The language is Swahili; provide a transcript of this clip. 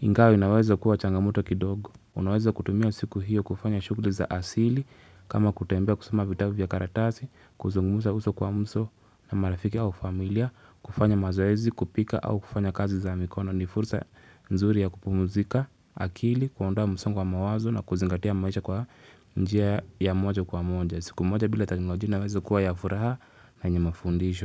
iNgawa inaweza kuwa changamoto kidogo. Unaweza kutumia siku hiyo kufanya shughuli za asili kama kutembea kusoma vitabu vya karatasi, kuzungumza uso kwa uso na marafiki au familia, kufanya mazoezi, kupika au kufanya kazi za mikono. Ni fursa nzuri ya kupumzika, akili, kuondoa msongo wa mawazo na kuzingatia maisha kwa njia ya moja kwa moja. Siku moja bila teknolojia inawezeka kuwa ya furaha na yenye mafundisho.